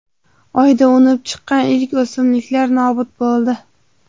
Oyda unib chiqqan ilk o‘simliklar nobud bo‘ldi.